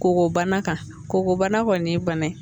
Koko bana kan k'o bana kɔni ye bana ye